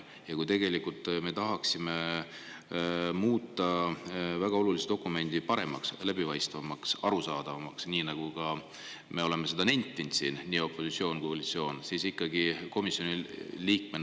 Ja kuna me tahaksime muuta väga olulise dokumendi paremaks, läbipaistvamaks, arusaadavamaks, nagu oleme siin nentinud – seda on teinud nii opositsioon kui ka koalitsioon –, siis te komisjoni liikmena …